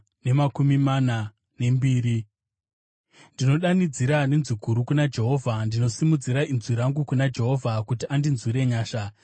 Ndinodanidzira nenzwi guru kuna Jehovha; ndinosimudzira inzwi rangu kuna Jehovha, kuti andinzwire nyasha.